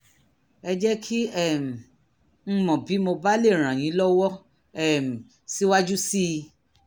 ẹ jẹ́ kí um n mọ̀ bí mo bá lè ràn yín lọ́wọ́ um síwájú sí i